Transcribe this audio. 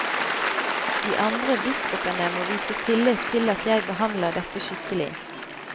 De andre biskopene må vise tillit til at jeg behandler dette skikkelig.